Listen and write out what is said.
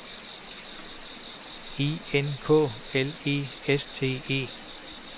E N K L E S T E